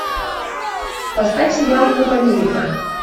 поставь сериал поп америка